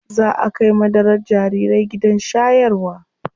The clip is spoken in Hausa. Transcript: Zaa a kai madarar jarirai gidan shayarwa.